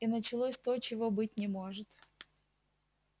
и началось то чего быть не может